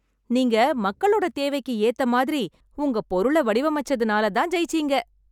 நீங்க, மக்களோட தேவைக்கு ஏத்த மாதிரி, உங்க பொருளை வடிவமைச்சதுனால தான் ஜெயிச்சிங்க.